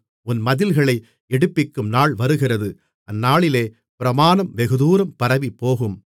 உன் மதில்களை எடுப்பிக்கும் நாள் வருகிறது அந்நாளிலே பிரமாணம் வெகுதூரம் பரவிப்போகும்